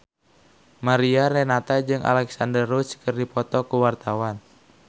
Mariana Renata jeung Alexandra Roach keur dipoto ku wartawan